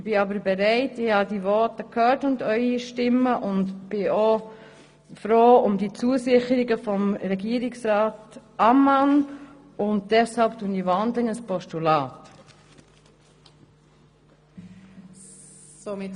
Nach dem Anhören Ihrer Voten und den Zusicherungen von Regierungsrat Ammann bin ich bereit, in ein Postulat zu wandeln.